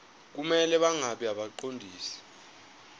kumele bangabi ngabaqondisi